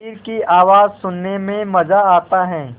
शरीर की आवाज़ सुनने में मज़ा आता है